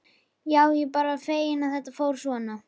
Já, ég er bara feginn að þetta fór svona.